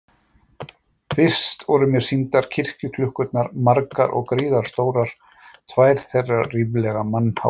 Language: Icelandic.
Fyrst voru mér sýndar kirkjuklukkurnar, margar og gríðarstórar, tvær þeirra ríflega mannháar.